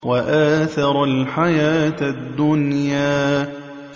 وَآثَرَ الْحَيَاةَ الدُّنْيَا